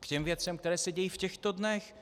k těm věcem, které se dějí v těchto dnech.